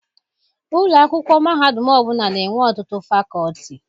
Ụlọ akwụkwọ mahadum ọbụla na-enwe ọtụtụ fakọọti.